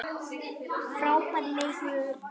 Frábær leikur.